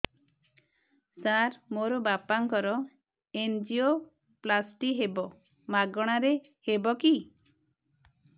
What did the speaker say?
ସାର ମୋର ବାପାଙ୍କର ଏନଜିଓପ୍ଳାସଟି ହେବ ମାଗଣା ରେ ହେବ କି